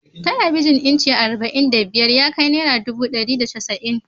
Talabijin inci arba'in da biyar ya kai naira dubu dari da casa'in